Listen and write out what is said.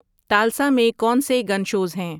Tulsa میں کون سے گن شوز ہیں